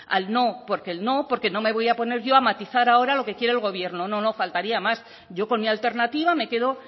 al no porque no me voy a poner yo a matizar ahora lo que quiere el gobierno no no faltaría más yo con mi alternativa me quedo